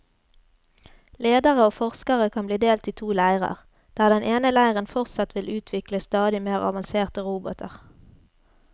Ledere og forskere kan bli delt i to leirer, der den ene leiren fortsatt vil utvikle stadig mer avanserte roboter.